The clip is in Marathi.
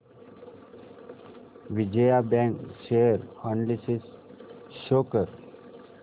Vijaya bank share analysis show कर